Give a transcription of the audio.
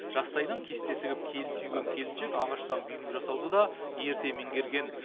жастайынан кесте тігіп келі түйген келіншек ағаштан бұйым жасауды да ерте меңгерген